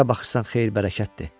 Hara baxırsan xeyir-bərəkətdir.